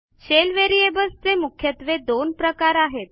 shell variables चे मुख्यत्वे दोन प्रकार आहेत